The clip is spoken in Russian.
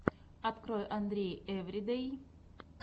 открой андрей эвридэй